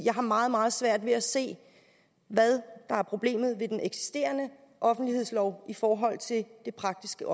jeg har meget meget svært ved at se hvad der er problemet ved den eksisterende offentlighedslov i forhold til det praktiske